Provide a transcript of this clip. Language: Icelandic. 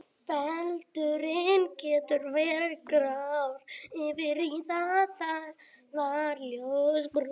Feldurinn getur verið grár yfir í það að vera ljósbrúnn.